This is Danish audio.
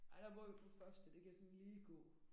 Ej der bor vi på første det kan sådan lige gå